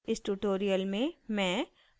इस ट्यूटोरियल में मैं